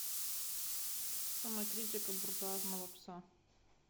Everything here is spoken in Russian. самокритика буржуазного пса